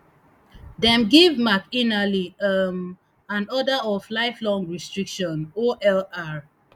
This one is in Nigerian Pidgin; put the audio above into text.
dem give mcinally um an order of lifelong restriction olr